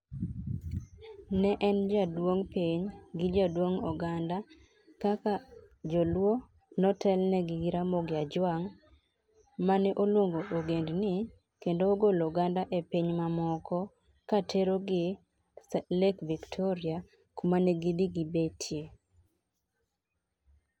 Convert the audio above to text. Ne en jaduong piny, gi jaduong oganda kaka joluo ne otel ne gi gi ramogi Ajwang' ma ne oluongo ogendni kendo ogolo oganda e piny ma moko ka tero gi lake Victoria kuma ne gi dhi gi betie,